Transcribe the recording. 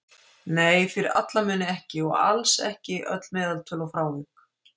Nei, fyrir alla muni ekki, og alls ekki öll meðaltöl og frávik.